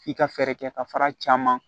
F'i ka fɛɛrɛ kɛ ka fara caman